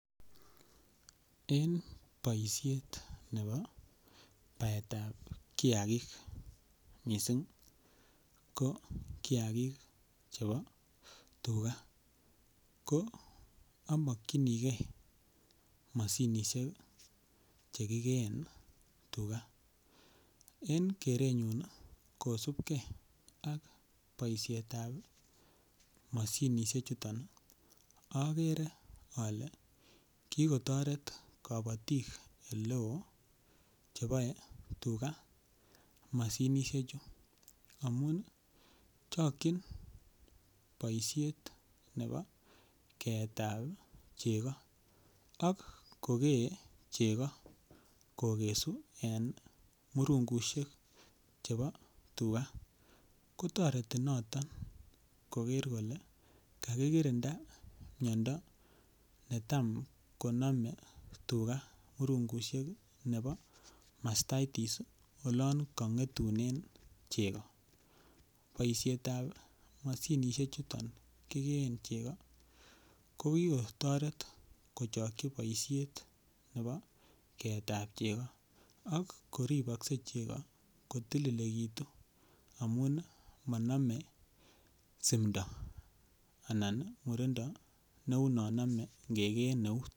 En boisiet nebo baetab kiagik mising ko kiagik chebo tuga ko amakyinige mashinisiek Che kigeen tuga en kerenyun kosubge ak boisiet ab mashinisiek chuto agere ale ko kotoret kabatik Ole oo cheboe tuga mashinisiek amun chokyin boisyet nebo keetab chego ak kogee chego kokesu en murungusiek chebo tuga kotoreti noton koger kole kakirinda miondo netam konome tuga murungusiek nebo mastitis olon kongetunen murungut chego boisiet ab mashinisiek chuto kigeen chego ko ki kotoret kochokyi boisiet nebo keetab chego ak ko ribokse chego ko tililekitu amun manamei simdo anan murindo neu non nome angegeen eut